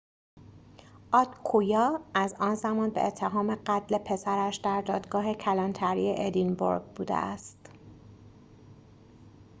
آدکویا از آن زمان به اتهام قتل پسرش در دادگاه کلانتری ادینبورگ بوده است